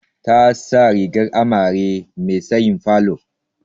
Ta sa rigar amare me tsayin falon.